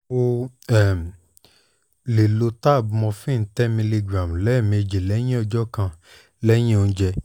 ó um lè lo tab morphine ten milligram lẹ́ẹ̀mejì ní ọjọ́ kan lẹ́yìn oúnjẹ